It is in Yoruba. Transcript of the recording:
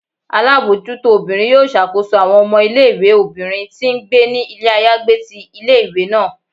Alabojuto obírín yọọ ṣakoso awọn ọmọ ìlé-ìwé obinrín ti ngbé ni ilé ayagbé tí ìlé-ìwé naa